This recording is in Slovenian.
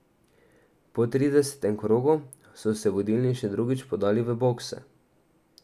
Po tridesetem krogu so se vodilni še drugič podali v bokse.